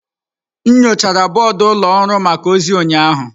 M nyochara bọọdụ ụlọ ọrụ maka ozi ụnyaahụ.